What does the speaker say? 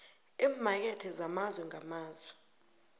eemakethe zamazwe ngamazwe